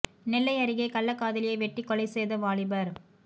நெல்லை அருகே கள்ளக் காதலியை வெட்டிக் கொலை செய்த வாலிபர்